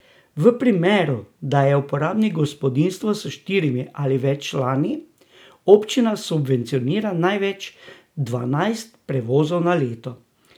V primeru, da je uporabnik gospodinjstvo s štirimi ali več člani, občina subvencionira največ dvanajst prevozov na leto.